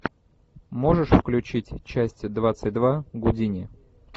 можешь включить часть двадцать два гудини